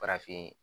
Farafin